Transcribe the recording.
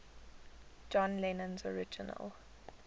john lennon's original